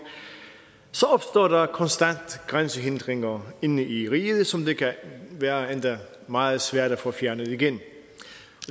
så opstår der konstant grænsehindringer inde i riget som det kan være endda meget svært at få fjernet igen